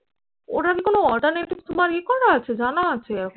ওরকম কোনো alternative তোমার ই করা আছে জানা আছে এরকম?